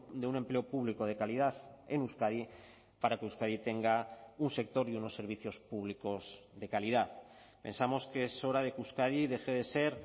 de un empleo público de calidad en euskadi para que euskadi tenga un sector y unos servicios públicos de calidad pensamos que es hora de que euskadi deje de ser